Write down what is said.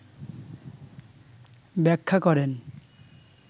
ব্যাখ্যা করেন